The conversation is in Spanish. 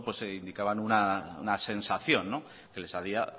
indicaban una sensación que les haría